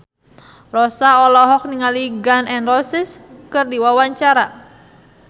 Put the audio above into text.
Rossa olohok ningali Gun N Roses keur diwawancara